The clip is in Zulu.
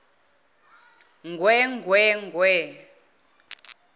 ngwee ngwee ngwee